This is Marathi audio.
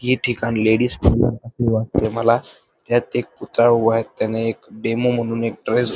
हे ठिकाण लेडीज वाटते मला त्यात एक पुतळा उभा आहे त्याने एक डेमो म्हणून एक ड्रेस --